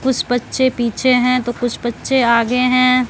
कुछ बच्चे पीछे हैं तो कुछ बच्चे आगे हैं।